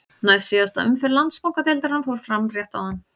Næst síðasta umferð Landsbankadeildarinnar fór fram rétt áðan.